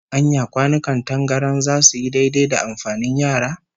Anya kwanukan tangaran zasu yi daidai da amfanin yara?